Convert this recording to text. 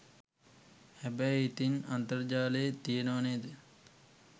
හැබැයි ඉතින් අන්තර්ජාලයෙත් තියනවා නේද